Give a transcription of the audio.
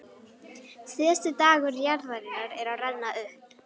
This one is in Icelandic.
Síðasti dagur jarðarinnar er að renna upp.